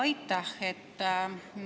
Aitäh!